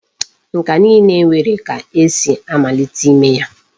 Nka niile nwere ka esi amalite ime ya.